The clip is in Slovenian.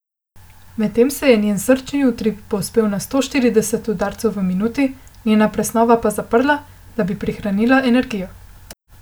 Medtem se je njen srčni utrip povzpel na sto štirideset udarcev v minuti, njena presnova pa zaprla, da bi prihranila energijo.